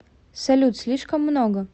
салют слишком много